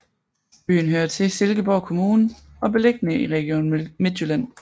Byen hører til Silkeborg Kommune og er beliggende i Region Midtjylland